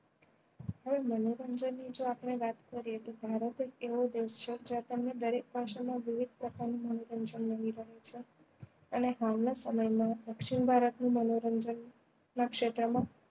હવે મનોરંજન ની જો આપણે વાત કરીએ તો ભારત એક એવો દેશ છે જ્યાં તમને દરેક ભાષા માં વિવિધ પ્રકાર નું મનોરંજન મળી રહે છે અને હાલ ના સમય માં દક્ષીણ ભારત નું મનોરંજન ના ક્ષેત્ર માં